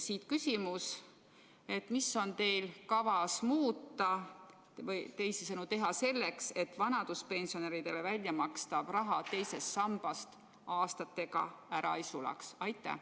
Siit küsimus: mida on teil kavas muuta või teha selleks, et vanaduspensionäridele väljamakstav raha II sambas aastatega ära ei sulaks?